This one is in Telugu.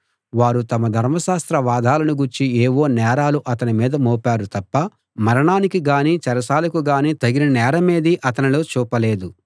వారు తమ ధర్మశాస్త్ర వాదాలను గూర్చి ఏవో నేరాలు అతని మీద మోపారు తప్ప మరణానికి గాని చెరసాలకు గాని తగిన నేరమేదీ అతనిలో చూపలేదు